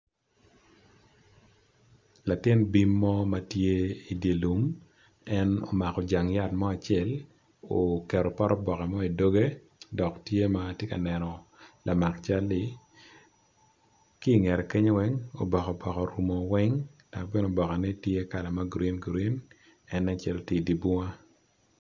Latin bim mo matye idilum en omako jangene yat mo acel oketo pote boke mo idoge dok tye matye ka neno lamak calli kingete kenyo oboke orumo kome weng laboke ne tye kalane green green en nen calo tye i dibunga.